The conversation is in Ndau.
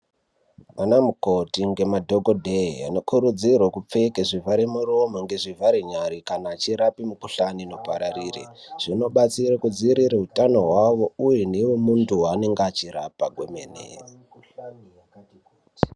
Vanamukoti nemadhokodheya anokurudzirwe kupfeka zvivhare muromo ngezvivhare nyara , vachirapa mukhuhlani inopararira , zvinobatsire kudzivirire utano hwawo uye newe muntu waanenge achirapa hwemene.